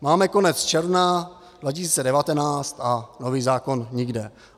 Máme konec června 2019 a nový zákon nikde.